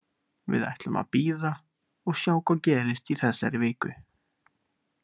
Við ætlum að bíða og sjá hvað gerist í þessari viku.